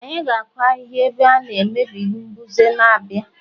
anyị ga-akụ ahịhịa ebe a megide mbuze na-abịa